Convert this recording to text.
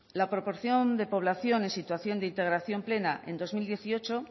la proporción de población en situación de integración plena en dos mil dieciocho